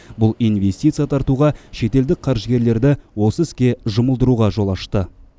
бұл инвестиция тартуға шетелдік қаржыгерлерді осы іске жұмылдыруға жол ашты